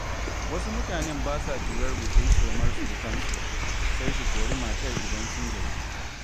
Wasu mutanen ba sa jurar gutsiri-tsomar surukansu, sai su kori matar idan sun gaji.